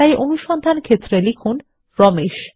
তাই অনুসন্ধান ক্ষেত্রে লিখুন রমেশ